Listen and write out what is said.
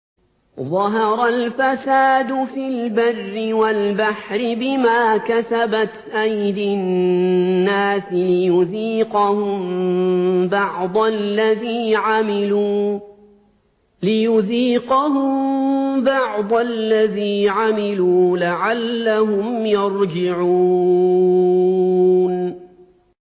ظَهَرَ الْفَسَادُ فِي الْبَرِّ وَالْبَحْرِ بِمَا كَسَبَتْ أَيْدِي النَّاسِ لِيُذِيقَهُم بَعْضَ الَّذِي عَمِلُوا لَعَلَّهُمْ يَرْجِعُونَ